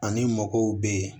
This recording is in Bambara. Ani mɔgɔw bɛ yen